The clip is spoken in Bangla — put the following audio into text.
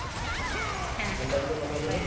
হ্যাঁ হ্যাঁ bye